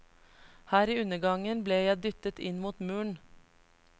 Her i undergangen ble jeg dyttet inn mot muren.